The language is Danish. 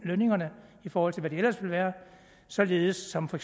lønningerne i forhold til hvad de ellers ville være således som for